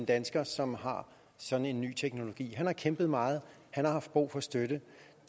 dansker som har sådan en ny teknologi han har kæmpet meget han har haft brug for støtte